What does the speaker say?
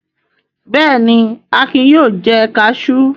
Bẹ́ẹ̀ ni, Akin yóò jẹ kaṣú.